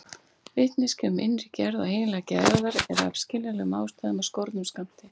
Vitneskja um innri gerð og eiginleika jarðar er af skiljanlegum ástæðum af skornum skammti.